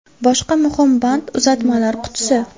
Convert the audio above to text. Boshqa muhim band – uzatmalar qutisi.